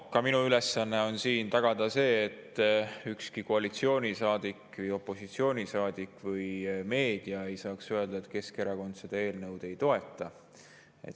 Ka minu ülesanne on tagada see, et ükski koalitsioonisaadik või opositsioonisaadik või meedia ei saaks öelda, et Keskerakond seda eelnõu ei toeta.